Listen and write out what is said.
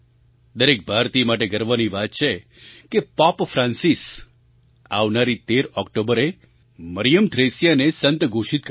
દરેક ભારતીય માટે ગર્વની વાત છે કે પૉપ ફ્રાન્સિસ આવનારી 13 ઑક્ટોબરે મરિયમ થ્રેસિયાને સંત ઘોષિત કરશે